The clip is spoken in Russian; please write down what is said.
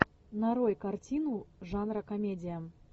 нарой картину жанра комедия